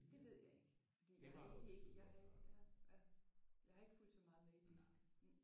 Det ved jeg ikke. Fordi jeg har egentlig ikke jeg har ikke fulgt så meget med i det